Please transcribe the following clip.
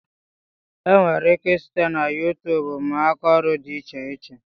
E nwere ike I site na YuuTub mụọ akaọrụ dị iche iche.